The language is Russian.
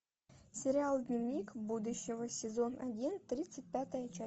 сериал дневник будущего сезон один тридцать пятая часть